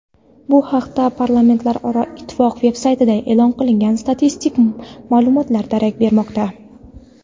Bu haqda Parlamentlararo ittifoq veb-saytida e’lon qilingan statistik ma’lumotlar darak bermoqda.